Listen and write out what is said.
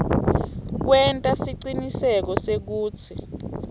kwenta siciniseko sekutsi